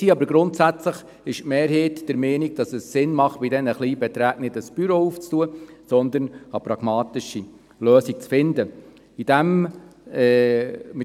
Die Mehrheit ist aber der Ansicht, dass es keinen Sinn macht, diesen Aufwand für solch kleine Beträge zu betreiben, sondern dass eine pragmatische Lösung gefunden werden muss.